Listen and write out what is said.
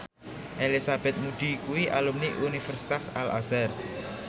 Elizabeth Moody kuwi alumni Universitas Al Azhar